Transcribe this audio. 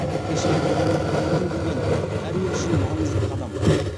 кеше бодандық қамытын киген әр ел үшін маңызды қадам